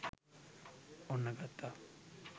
ඔන්න ගත්තා